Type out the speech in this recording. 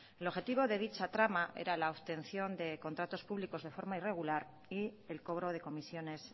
el objetivo de dicha trama era la obtención de contratos públicos en forma irregular y el cobro de comisiones